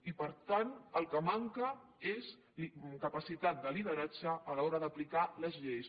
i per tant el que manca és capacitat de lideratge a l’hora d’aplicar les lleis